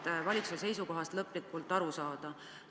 Tahaksime valitsuse seisukohast lõplikult aru saada.